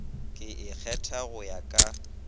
e ikgetha go ya ka